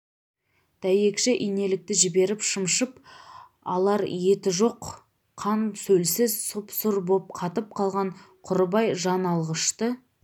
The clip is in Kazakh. дәйекші инелікті жіберіп шымшып алар еті жоқ қан-сөлсіз сұп-сұр боп қатып қалған құрыбай жан алғышты